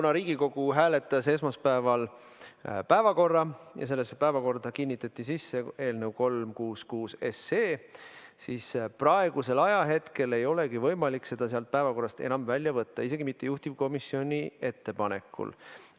Kuna Riigikogu hääletas esmaspäeval päevakorda ja sellesse päevakorda kinnitati eelnõu 366, siis praegusel ajahetkel ei olegi võimalik seda sealt päevakorrast enam välja võtta, isegi mitte juhtivkomisjoni ettepanekul.